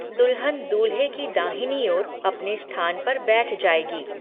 दुल्हन दूल्हे की दाहिनी ओर अपने स्थान पर बैठ जाएगी।